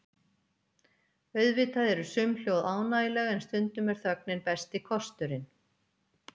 Auðvitað eru sum hljóð ánægjuleg en stundum er þögnin besti kosturinn.